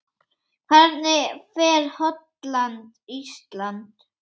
Hvernig fer Holland- Ísland?